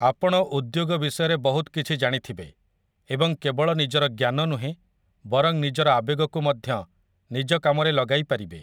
ଆପଣ ଉଦ୍ୟୋଗ ବିଷୟରେ ବହୁତ କିଛି ଜାଣିଥିବେ ଏବଂ କେବଳ ନିଜର ଜ୍ଞାନ ନୁହେଁ ବରଂ ନିଜର ଆବେଗକୁ ମଧ୍ୟ ନିଜ କାମରେ ଲଗାଇ ପାରିବେ ।